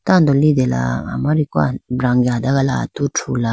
tando litela amariku brange adagala atu thrula.